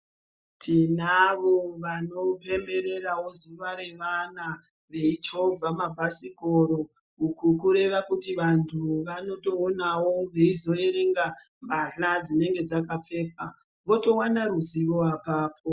Tinavo vanopembererawo ziva revana veichovha mabhasikoro uku kureva kuti vantu vanozotoonawo veizoerenga mbahla dzinenge dzakapfekwa votowana ruzivo apapo.